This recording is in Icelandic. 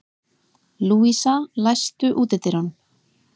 Lúísa, læstu útidyrunum.